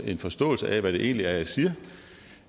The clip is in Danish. en forståelse af hvad det egentlig er jeg siger